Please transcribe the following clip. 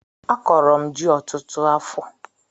Akọrọ m ji ọtụtụ afọ